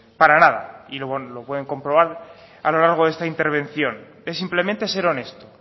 para nada y lo pueden comprobar a lo largo de esta intervención es simplemente ser honesto